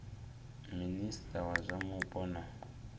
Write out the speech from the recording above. minista wa zwa mupo na